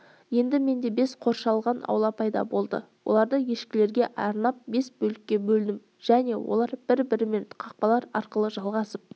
енді менде бес қоршалған аула пайда болды оларды ешкілерге арнап бес бөлікке бөлдім және олар бір-бірімен қақпалар арқылы жалғасып